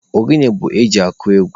Ogene bụ eji akụ egwu.